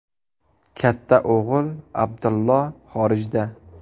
Katta o‘g‘li Abdullo xorijda.